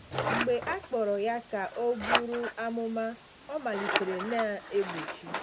Mgbe a kpọrọ ya ka ọ bụrụ amụma, ọ malitere na-egbochi.